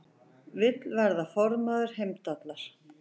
Vill verða formaður Heimdallar